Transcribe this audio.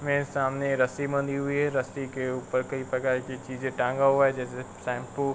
मेरे सामने रस्सी बंधी हुई है। रस्सी के ऊपर कई प्रकार की चीजें टाँगा हुआ है। जैसे कि शैम्पू ।